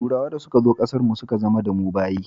Turawa da suka zo ƙasar mu suka zama da mu bayi